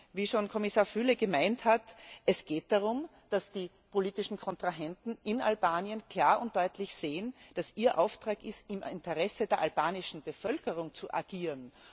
Wie schon Kommissar Füle erklärt hat, geht es darum, dass die politischen Kontrahenten in Albanien klar und deutlich sehen, dass es ihr Auftrag ist, im Interesse der albanischen Bevölkerung zu agieren.